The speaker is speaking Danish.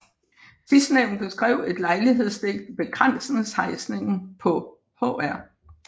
Sidstnævnte skrev et lejlighedsdigt Ved Krandsens Heisning paa Hr